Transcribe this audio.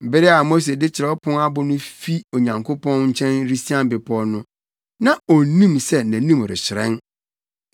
Bere a Mose de kyerɛw apon no fi Onyankopɔn nkyɛn resian bepɔw no, na onnim sɛ nʼanim rehyerɛn.